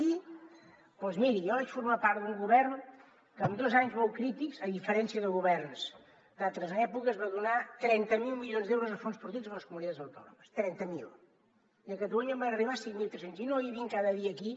i doncs miri jo vaig formar part d’un govern que en dos anys molt crítics a diferència de governs d’altres èpoques va donar trenta miler milions d’euros a fons perduts a les comunitats autònomes trenta miler i a catalunya en van arribar cinc mil tres cents i no hi havien cada dia aquí